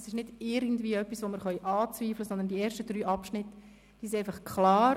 Es ist nichts, das wir anzweifeln können, sondern die ersten drei Abschnitte sind klar.